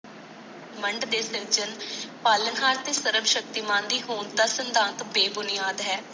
ਮਾਡ ਦੇ ਸਿਨ ਚੀਨ ਪਲਾਨ ਹਾਰ ਤੇ ਸਰਬ ਸ਼ਕਤੀਮਨੀ ਹੋਣ ਦਾ ਸਿਧਾਂਤ ਬੇਬੁਨਿਆਦ ਹੈ